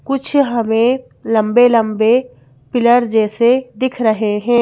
कुछ हमें लम्बे लम्बे पीलर जैसे दिख रहे हैं।